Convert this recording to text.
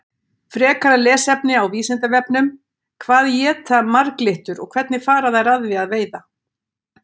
Frekara lesefni á Vísindavefnum: Hvað éta marglyttur og hvernig fara þær að því að veiða?